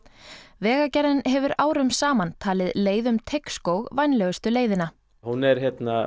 vegagerðin hefur árum saman talið leið um Teigsskóg vænlegustu leiðina hún er